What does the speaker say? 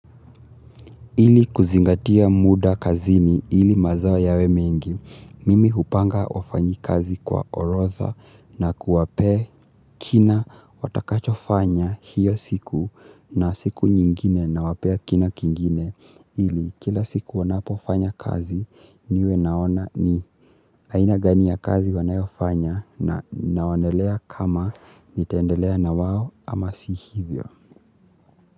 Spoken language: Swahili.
Ili kuzingatia muda kazini ili mazao ya we mengi, mimi hupanga wafanyi kazi kwa orotha na kuwape kina watakacho fanya hiyo siku na siku nyingine na wapea kina kingine. Ili kila siku wanapo fanya kazi niwe naona ni aina gani ya kazi wanayo fanya na naonelea kama nitaendelea na wao ama si hivyo.